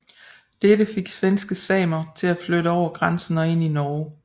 Dette fik svenske samer til at flytte over grænsen og ind i Norge